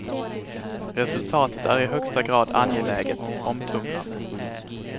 Resultatet är i högsta grad angeläget, omtumlande.